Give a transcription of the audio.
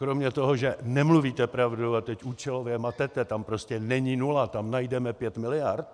Kromě toho, že nemluvíte pravdu a teď účelově matete, tam prostě není nula, tam najdeme pět miliard...